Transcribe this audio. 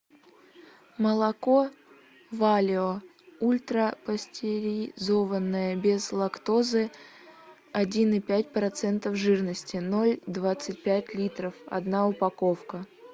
молоко валио ультрапастеризованное без лактозы один и пять процентов жирности ноль двадцать пять литров одна упаковка